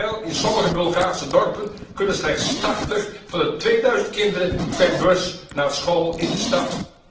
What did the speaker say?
Let wel, in sommige Bulgaarse dorpen kunnen slechts 80 van de 2000 kinderen per bus naar school in de stad.